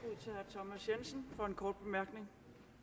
thomas jensen for en kort bemærkning